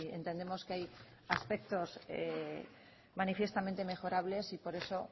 entendemos que hay aspectos manifiestamente mejorables y por eso